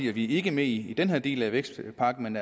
er vi ikke med i den her del af vækstpakken